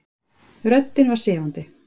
Röddin var sefandi.